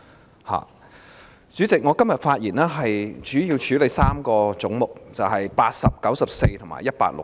代理主席，我今天的發言主要是討論3個總目，分別為80、94及160。